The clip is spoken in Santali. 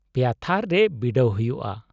-ᱯᱮᱭᱟ ᱛᱷᱟᱨ ᱨᱮ ᱵᱤᱰᱟᱹᱣ ᱦᱩᱭᱩᱜᱼᱟ ᱾